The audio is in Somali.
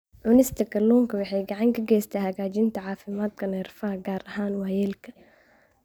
Cunista kalluunka waxay gacan ka geysataa hagaajinta caafimaadka neerfaha, gaar ahaan waayeelka.